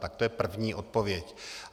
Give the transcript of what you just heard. Tak to je první odpověď.